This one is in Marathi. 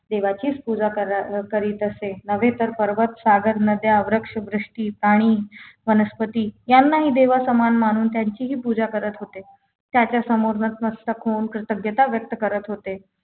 देवाचीच पूजा कर करीत असे नव्हे तर पर्वत सागर नद्या वृक्ष वृष्टी पाणी वनस्पती यांनाही देवासमान मानून त्यांचीहि पूजा करत होते त्याच्या समोर नतमस्तक होऊन प्रतज्ञता व्यक्त करत होते